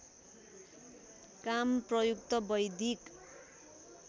कम प्रयुक्त वैदिक